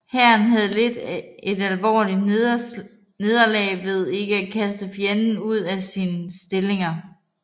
Hæren havde lidt et alvorligt nederlag ved ikke at kaste fjenden ud af sine stillinger